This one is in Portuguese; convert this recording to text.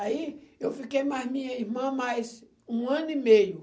Aí eu fiquei mais minha irmã mais um ano e meio.